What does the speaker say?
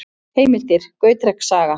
Heimildir: Gautreks saga.